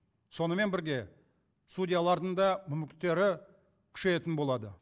сонымен бірге судьялардың да мүмкіндіктері күшейетін болады